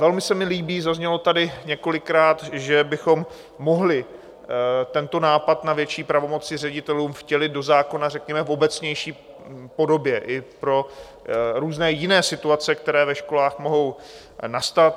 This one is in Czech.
Velmi se mi líbí - zaznělo tady několikrát - že bychom mohli tento nápad na větší pravomoci ředitelům vtělit do zákona, řekněme v obecnější podobě i pro různé jiné situace, které ve školách mohou nastat.